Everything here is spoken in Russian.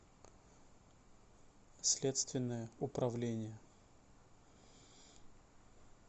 следственное управление